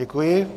Děkuji.